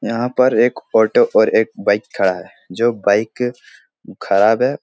यहाँ पर एक ऑटो और एक बाइक खड़ा है जो बाइक ख़राब है |